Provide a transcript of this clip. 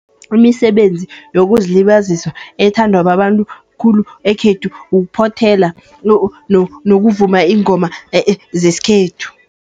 Imisebenzi yokuzilibazisa ethandwa babantu khulu, ekhethu kuphothela nokuvuma iingoma zesikhethu.